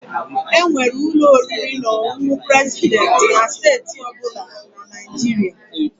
Enwere ụlọ oriri na ọṅụṅụ President na steeti ọ bụla na Nigeria.